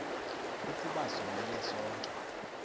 ukuba sonile sonke